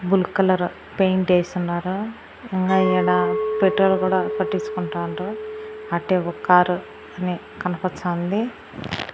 బులుగ్ colour paint ఏసున్నారు ఇంగా ఈడ పెట్రోల్ కూడా పట్టించుకుంటాన్రు అట్టే ఒక్ కారు కనీ కనిపచ్చాంది .